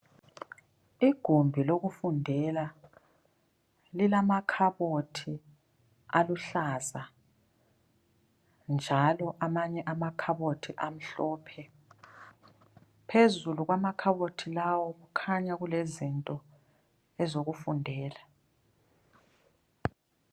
Igumbi lokufundela, lilamakhabothi aluhlaza njalo amanye amakhabothi amhlophe. Phezulu kwamakhabothi lawo kukhanya kulezinto ezokufundela.